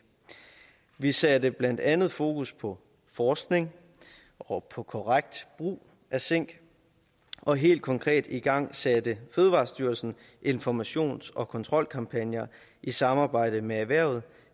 vi satte blandt andet fokus på forskning og på korrekt brug af zink og helt konkret igangsatte fødevarestyrelsen informations og kontrolkampagner i samarbejde med erhvervet